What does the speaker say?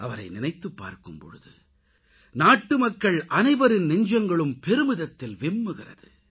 அவரை நினைத்துப் பார்க்கும்பொழுது நாட்டுமக்கள் அனைவரின் நெஞ்சங்களும் பெருமிதத்தில் விம்முகிறது